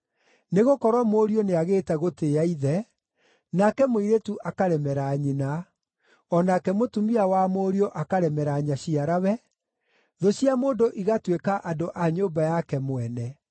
Nĩgũkorwo mũriũ nĩagĩte gũtĩĩa ithe, nake mũirĩtu akaremera nyina, o nake mũtumia wa mũriũ akaremera nyaciarawe, thũ cia mũndũ igaatuĩka andũ a nyũmba yake mwene.